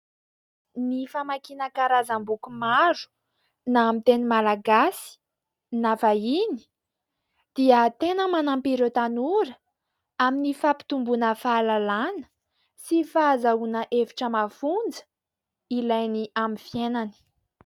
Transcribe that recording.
Ny famakiana karazam-boky maro na amin'ny teny malagasy na vahiny dia tena manampy ireo tanora amin'ny fampitomboana fahalalana sy fahazoana hevitra mafonja ilainy amin'ny fiainany.